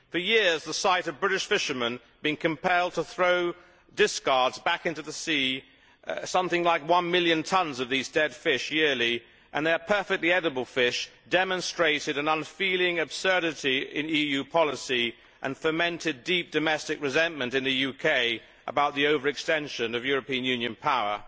For years the sight of British fishermen being compelled to throw discards back into the sea something like one million tonnes of these dead fish yearly, and they are perfectly edible fish demonstrated an unfeeling absurdity in EU policy and fomented deep domestic resentment in the UK about the over extension of European Union power.